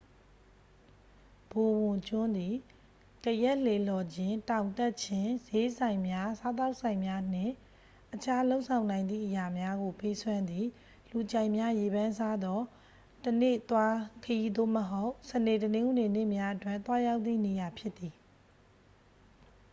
ဘိုဝန်ကျွန်းသည် ကယက်လှေလှော်ခြင်း တောင်တက်ခြင်း ဈေးဆိုင်များ စားသောက်ဆိုင်များနှင့် အခြားလုပ်ဆောင်နိုင်သည့်အရာများကို ပေးစွမ်းသည့် လူကြိုက်များရေပန်းစားသော တစ်နေ့သွားခရီး သို့မဟုတ် စနေ တနင်္ဂနွေနေ့များအတွက် သွားရောက်သည့်နေရာဖြစ်သည်